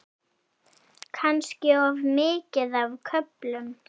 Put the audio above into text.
Kannski of mikið á köflum.